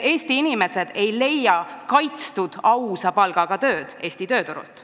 Eesti inimesed ei leia ausa palga eest tööd meie tööturult.